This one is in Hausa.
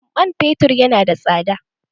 Man fetur ya na da tsada.